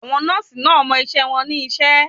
Àwọn nọ́ọ̀sì náà mọ iṣẹ́ wọn ní iṣẹ́.